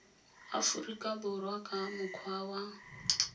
aforika borwa ka mokgwa wa